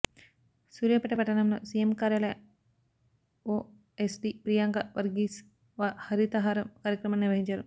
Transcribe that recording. సూర్యాపేట పట్టణంలో సీఎం కార్యాలయ ఓఎస్డీ ప్రియాంక వర్గీస్ హరితహారం కార్యక్రమాన్ని నిర్వహించారు